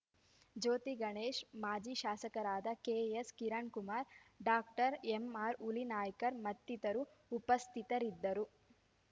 ಜ್ಯೋತಿಗಣೇಶ್ ಮಾಜಿ ಶಾಸಕರಾದ K S Kirankumar doctor M R Hulinaikar ಮತ್ತಿತರರು ಉಪಸ್ಥಿತರಿದ್ದರು